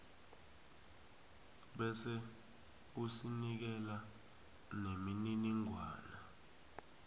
bese usinikela nemininingwana